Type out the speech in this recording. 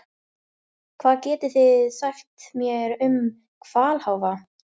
Hvað getið þið sagt mér um hvalháfa?